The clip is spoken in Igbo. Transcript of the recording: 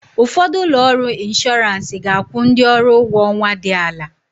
Ụfọdụ ụlọ ọrụ inshọrans ga-akwụ ndị ọrụ ụgwọ ọnwa dị ala.